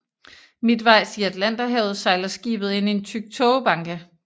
Midtvejs i Atlanterhavet sejler skibet ind i en tyk tågebanke